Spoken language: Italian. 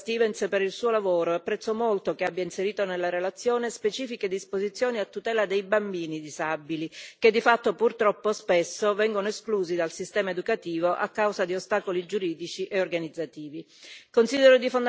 Ringrazio la collega Stevens per il suo lavoro e apprezzo molto che abbia inserito nella relazione specifiche disposizioni a tutela dei bambini disabili, che di fatto purtroppo spesso vengono esclusi dal sistema educativo a causa di ostacoli giuridici e organizzativi.